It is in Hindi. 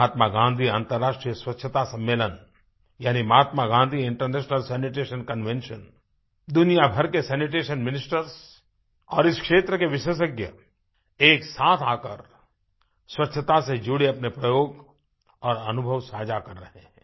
महात्मा गाँधी अंतर्राष्ट्रीय स्वच्छता सम्मेलन यानी Mahatma Gandhi international sanitation convention दुनिया भर के सैनिटेशन मिनिस्टर्स और इस क्षेत्र के विशेषज्ञ एक साथ आकर स्वच्छता से जुड़े अपने प्रयोग और अनुभव साझा कर रहे हैं